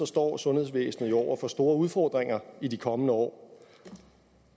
står sundhedsvæsenet jo over for store udfordringer i de kommende år